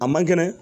A man kɛnɛ